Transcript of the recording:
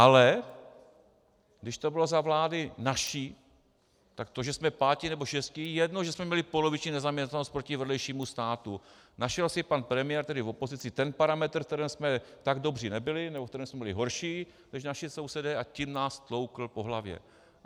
Ale když to bylo za vlády naší, tak to, že jsme pátí nebo šestí, je jedno, že jsme měli poloviční nezaměstnanost proti vedlejšímu státu, našel si pan premiér tehdy v opozici ten parametr, v kterém jsme tak dobří nebyli nebo ve kterém jsme byli horší než naši sousedé, a tím nás tloukl po hlavě.